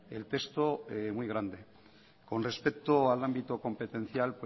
el texto muy grande con respecto al ámbito competencial